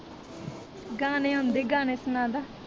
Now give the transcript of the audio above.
ਗਾਣੇ ਆਉਂਦੇ ਗਾਣੇ ਸਨਾਦਾ